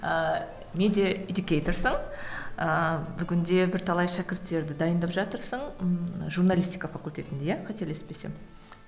ыыы медиаэдюкейторсың ыыы бүгінде бірталай шәкірттерді дайындап жатырсың ммм журналистика факультетінде иә қателеспесем